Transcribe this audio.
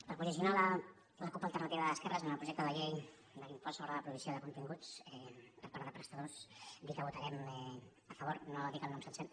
per posicionar la cup alternativa d’esquerres en el projecte de llei de l’impost sobre la provisió de continguts per part de prestadors dir que hi votarem a favor no dic el nom sencer